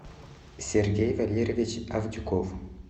сергей валерьевич авдюков